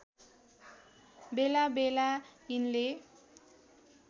बेला बेला यिनले